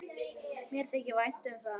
Mér þykir vænt um það.